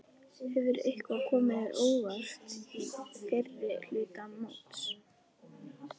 Hefur eitthvað komið þér á óvart í fyrri hluta móts?